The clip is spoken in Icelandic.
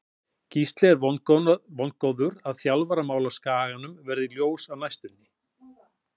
Gísli er vongóður að þjálfaramál á Skaganum verði ljós á næstunni.